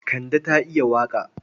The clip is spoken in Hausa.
Kande ta iya waƙa.